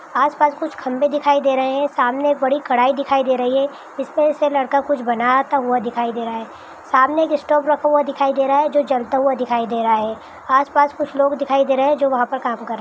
आस पास कुछ खम्भे दिखाई दे रहे हैं सामने एक बड़ी कढ़ाई दिखाई दे रही है जिसमें से लड़का कुछ बनाता हुआ दिखाई दे रहा है सामने एक स्टोव रखा हुआ दिखाई दे रहा है जो जाता हुआ दिखाई दे रहा है आस पास कुछ लोग दिखाई दे रहे हैं जो वहा पर काम कर रहे हैं ।